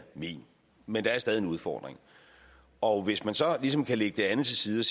min men det er stadig en udfordring og hvis man så ligesom kan lægge det andet til side og